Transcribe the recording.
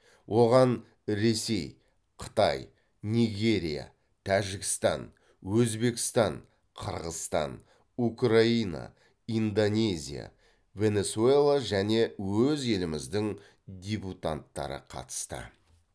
оған ресей қытай нигерия тәжікстан өзбекстан қырғызстан украина индонезия венесуэла және өз еліміздің дебютанттары қатысты